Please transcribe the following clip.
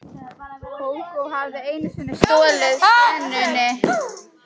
Kókó hafði einu sinni stolið senunni.